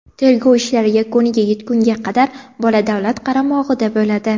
Tergov ishlari yakuniga yetgunga qadar bola davlat qaramog‘ida bo‘ladi.